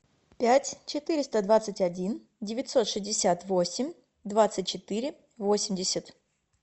пять четыреста двадцать один девятьсот шестьдесят восемь двадцать четыре восемьдесят